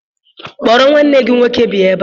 Kpọrọ nwanne gị nwoke bịa ebe a!